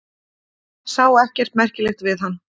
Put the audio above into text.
Sá ekkert merkilegt við hann.